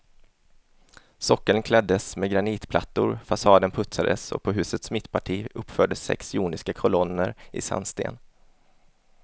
Sockeln kläddes med granitplattor, fasaden putsades och på husets mittparti uppfördes sex joniska kolonner i sandsten.